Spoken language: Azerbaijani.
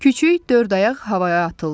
Küçüy dörd ayaq havaya atıldı.